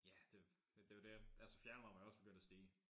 Ja det er jo det altså fjernvarmen er jo også begyndt at stige